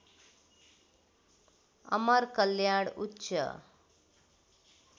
अमर कल्याण उच्च